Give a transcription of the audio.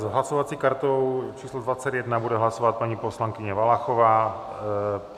S hlasovací kartou číslo 21 bude hlasovat paní poslankyně Valachová.